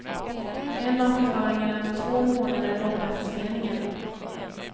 En av förklaringarna är den två månader långa förseningen.